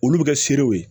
Olu bɛ kɛ seerew ye